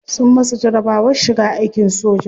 Sun masa jarabawar shiga aikin soja.